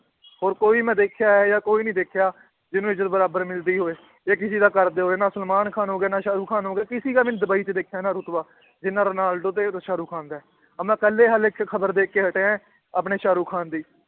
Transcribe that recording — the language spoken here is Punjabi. ਹੋਰ ਕੋਈ ਮੈਂ ਦੇਖਿਆ ਇਹ ਜਿਹਾ ਕੋਈ ਨੀ ਦੇਖਿਆ, ਜਿਹਨੂੰ ਇੱਜਤ ਬਰਾਬਰ ਮਿਲਦੀ ਹੋਵੇ, ਜਾਂ ਕਿਸੇ ਦਾ ਕਰਦੇ ਹੋਏ, ਨਾ ਸਲਮਾਨ ਖਾਨ ਹੋ ਗਿਆ, ਨਾ ਸਾਹਰੁਖਾਨ ਹੋ ਗਿਆ ਕਿਸੀ ਡੁਬਈ 'ਚ ਦੇਖਿਆ ਨਾ ਰੁਤਬਾ ਜਿੰਨਾ ਰੋਨਾਲਡੋ ਤੇ ਸਾਹਰੁਖਾਨ ਦਾ ਹੈ, ਆਹ ਮੈਂ ਪਹਿਲੇ ਹਾਲੇ 'ਚ ਖ਼ਬਰ ਦੇਖ ਕੇ ਹਟਿਆ ਹੈ, ਆਪਣੇ ਸਾਹਰੁਖਾਨ ਦੀ